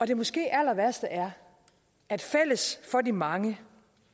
det måske allerværste er at fælles for de mange